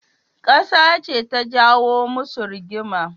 Kasa ce ta jawo musu rigima.